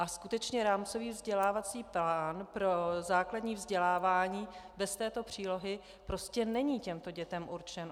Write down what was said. A skutečně rámcový vzdělávací plán pro základní vzdělávání bez této přílohy prostě není těmto dětem určen.